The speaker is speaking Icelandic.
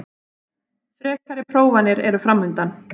Frekari prófanir eru framundan